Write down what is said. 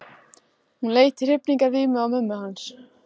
Hún leit í hrifningarvímu á mömmu hans.